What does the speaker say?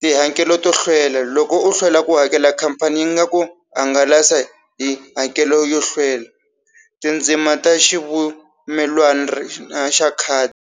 tihakelo to hlwela loko u hlwela ku hakela khampani yi nga ku hangalasa hi hakelo yo hlwela tindzima ta xa khadi.